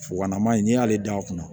Fukonama in n'i y'ale dan a kunna